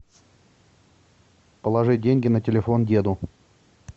положи деньги на телефон деду